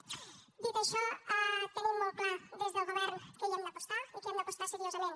dit això tenim molt clar des del govern que hi hem d’apostar i que hi hem d’apostar seriosament